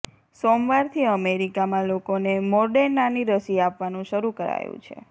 સોમવારથી અમેરિકામાં લોકોને મોડેર્નાની રસી આપવાનું શરૂ કરાયું છે